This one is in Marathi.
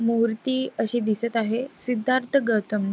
मूर्ती अशी दिसत आहे. सिद्धार्थ गौतम--